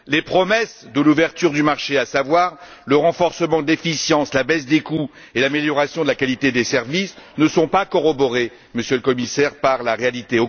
Les promesses de l'ouverture du marché, à savoir le renforcement de l'efficacité, la baisse des coûts et l'amélioration de la qualité des services, ne sont pas corroborées, Monsieur le Commissaire, par la réalité.